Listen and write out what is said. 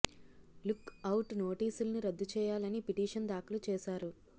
look out నోటీసుల్ని రద్దు చేయాలని పిటీషన్ దాఖలు చేశారు